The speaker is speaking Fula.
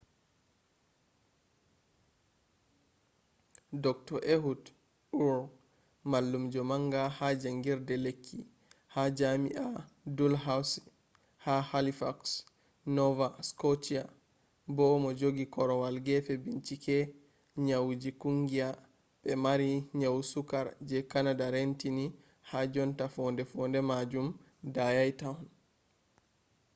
dr. ehud ur mallumjo manga ha jangirde lekki ha jami'a dalhousie ha halifax nova scotia bo mojogi korwal gefe bincike nyauji kungiya be mari nyau sukkar je canada reentini ha jonta fonde-fonde majum dayai tohon